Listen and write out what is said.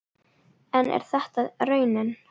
En er þetta raunin?